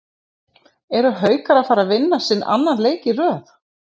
ERU HAUKAR AÐ FARA AÐ VINNA SINN ANNAN LEIK Í RÖÐ???